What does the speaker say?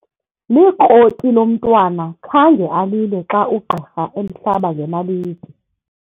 Likroti lo mntwana khange alile xa ugqirha emhlaba ngenaliti.